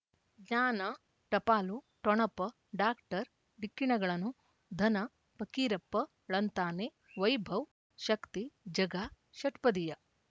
ಜ್ಞಾನ ಟಪಾಲು ಠೊಣಪ ಡಾಕ್ಟರ್ ಢಿಕ್ಕಿ ಣಗಳನು ಧನ ಫಕೀರಪ್ಪ ಳಂತಾನೆ ವೈಭವ್ ಶಕ್ತಿ ಝಗಾ ಷಟ್ಪದಿಯ